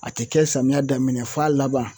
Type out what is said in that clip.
A te kɛ samiya daminɛ f'a laban